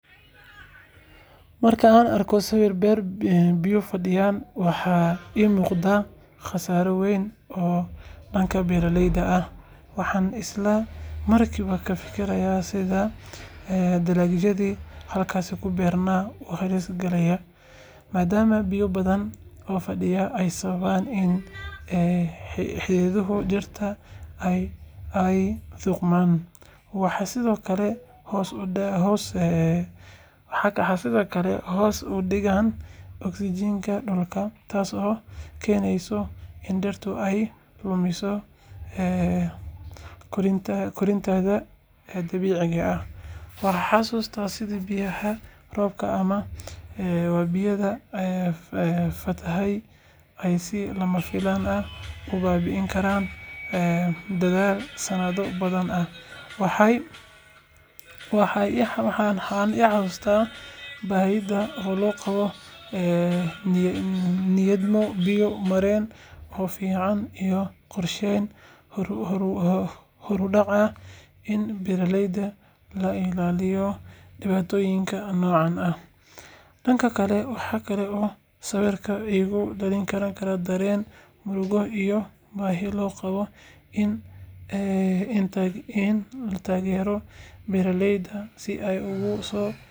Marka aan arko sawir beer biyuhu fadhiyeen, waxa iiga muuqda khasaare weyn oo dhanka beeralayda ah. Waxaan isla markiiba ka fikiraa sida dalagyadii halkaas ku beernaa u halis galayaan, maadaama biyo badan oo fadhiya ay sababaan in xididdada dhirta ay qudhmaan. Waxay sidoo kale hoos u dhigaan oksijiinta dhulka, taasoo keeneysa in dhirtu ay lumiso koritaankeeda dabiiciga ah. Waxaan xasuustaa sida biyaha roobka ama wabiyada ka fatahay ay si lama filaan ah u baabi'in karaan dadaal sanado badan ah. Waxay i xasuusisaa baahida loo qabo nidaamyo biyo-mareen oo fiican iyo qorsheyn horudhac ah si beeraleyda looga ilaaliyo dhibaatooyinka noocan ah. Dhanka kale, waxa kale oo sawirkaas igu dhalin karaa dareen murugo iyo baahi loo qabo in la taageero beeraleyda si ay uga soo.